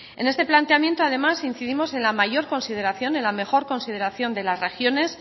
en este planteamiento además incidimos en la mayor consideración en la mejor consideración de las regiones